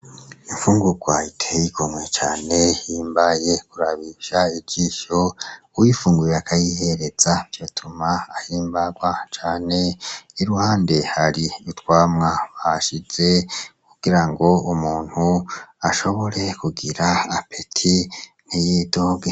Imfungugwa iteye igomwe cane ihimbaye kurabisha ijisho, uwuyifunguye akayihereza vyotuma ahimbagwa cane . Iruhande hari utwamwa bahashize kugirango umuntu ashobore kugira akayabagu ntiyidoge.